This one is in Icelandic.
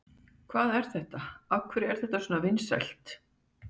Hvað er þetta, af hverju er þetta svona vinsælt?